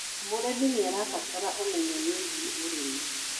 Mũrĩmi nĩ arabatara ũmenyo wĩgiĩ ũrĩmi.